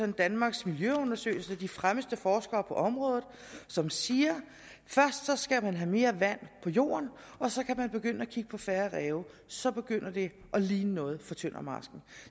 danmarks miljøundersøgelser de fremmeste forskere på området som siger først skal man have mere vand på jorden og så kan man begynde at kigge på færre ræve så begynder det at ligne noget for tøndermarsken